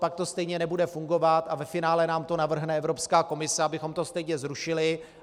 Pak to stejně nebude fungovat a ve finále nám to navrhne Evropská komise, abychom to stejně zrušili.